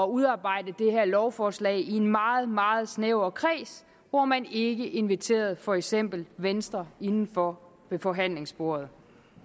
udarbejde det her lovforslag i en meget meget snæver kreds hvor man ikke inviterede for eksempel venstre indenfor ved forhandlingsbordet